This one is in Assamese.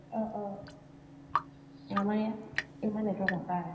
আমাৰ ইয়াত ইমান network নাপায়